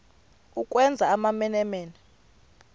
ukwenza amamene mene